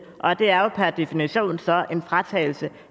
det er jo per definition en fratagelse